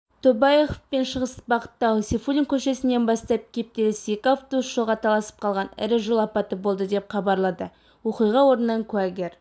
тобаяқовпен шығыс бағытта сейфуллин көшесінен бастап кептеліс екі автобус жолға таласып қалған ірі жол апаты болды деп хабарлады оқиға орнынан куәгер